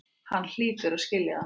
Hann hlýtur að skilja það.